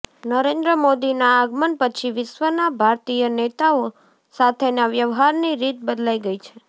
નરેન્દ્ર મોદીના આગમન પછી વિશ્વના ભારતીય નેતાઓ સાથેના વ્યવહારની રીત બદલાઈ ગઈ છે